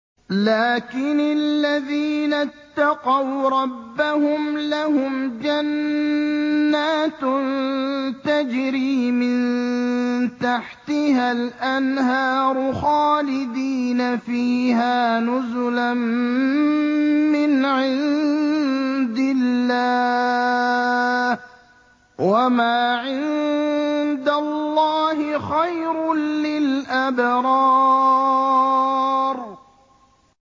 لَٰكِنِ الَّذِينَ اتَّقَوْا رَبَّهُمْ لَهُمْ جَنَّاتٌ تَجْرِي مِن تَحْتِهَا الْأَنْهَارُ خَالِدِينَ فِيهَا نُزُلًا مِّنْ عِندِ اللَّهِ ۗ وَمَا عِندَ اللَّهِ خَيْرٌ لِّلْأَبْرَارِ